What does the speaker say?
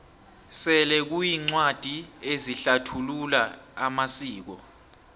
sele kuneencwadi ezihlathulula amasiko